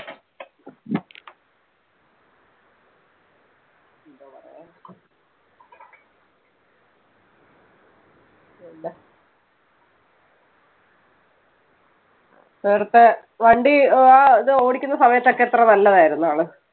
നേരത്തെ വണ്ടി ആഹ് ഇത് ഓടിക്കുന്ന സമയത്തൊക്കെ എത്ര നല്ലതായിരുന്നു ആള്.